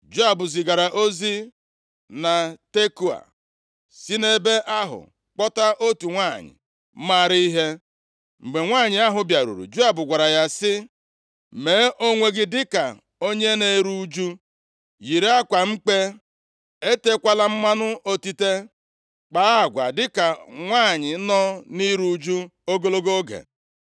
Joab zigara ozi na Tekoa, si nʼebe ahụ kpọta otu nwanyị maara ihe. Mgbe nwanyị ahụ bịaruru, Joab gwara ya sị, “Mee onwe gị dịka onye na-eru ụjụ. Yiri akwa mkpe, etekwala mmanụ otite. Kpaa agwa dịka nwanyị nọ nʼiru ụjụ ogologo oge.